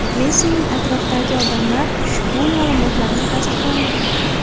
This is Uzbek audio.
Messining atrofidagi odamlar ushbu ma’lumotlarni tasdiqlamagan.